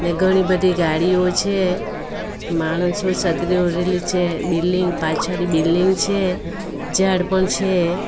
ઘણી બધી ગાડીઓ છે માણસો છત્રી ઓઢેલી છે બિલ્ડીંગ પાછાડી બિલ્ડીંગ છે ઝાડ પણ છે.